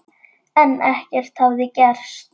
En ekkert hafði gerst.